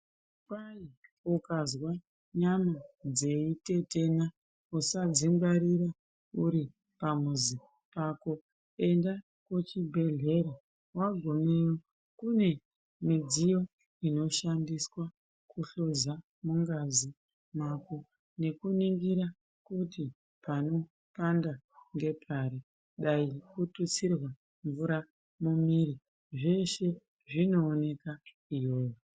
Kwai ukazwe nyama dzeitetena usadzingwarira uripamuzi pako enda kuchibhedhlera wagumeyo kune midziyo inoshandiswa kuhloza mungazi mako nekuningira kuti panopanda ngepari dai kututsirwa mvura mumwiiri zveshe zvinooneka iyoyo.